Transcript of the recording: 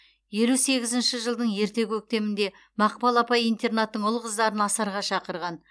елу сегізінші жылдың ерте көктемінде мақпал апай интернаттың ұл қыздарын асарға шақырған